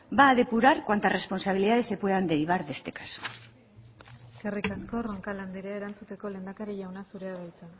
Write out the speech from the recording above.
va a depurar cuantas responsabilidades se puedan derivar de este caso eskerrik asko roncal anderea erantzuteko lehendakari jauna zurea da hitza